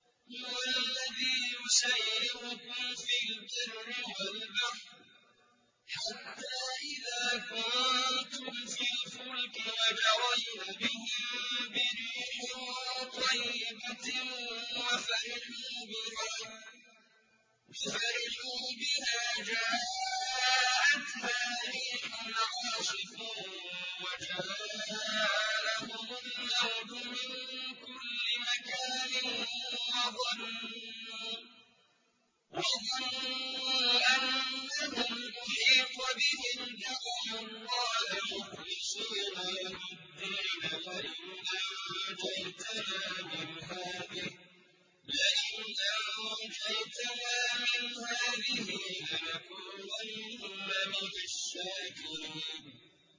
هُوَ الَّذِي يُسَيِّرُكُمْ فِي الْبَرِّ وَالْبَحْرِ ۖ حَتَّىٰ إِذَا كُنتُمْ فِي الْفُلْكِ وَجَرَيْنَ بِهِم بِرِيحٍ طَيِّبَةٍ وَفَرِحُوا بِهَا جَاءَتْهَا رِيحٌ عَاصِفٌ وَجَاءَهُمُ الْمَوْجُ مِن كُلِّ مَكَانٍ وَظَنُّوا أَنَّهُمْ أُحِيطَ بِهِمْ ۙ دَعَوُا اللَّهَ مُخْلِصِينَ لَهُ الدِّينَ لَئِنْ أَنجَيْتَنَا مِنْ هَٰذِهِ لَنَكُونَنَّ مِنَ الشَّاكِرِينَ